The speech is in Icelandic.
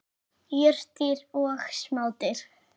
Jurtir og smádýr.